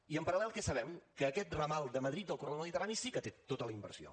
i en paral·lel què sabem que aquest ramal de madrid del corredor mediterrani sí que té tota la inversió